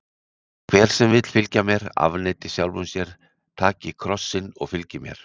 Hver sem vill fylgja mér, afneiti sjálfum sér, taki kross sinn og fylgi mér.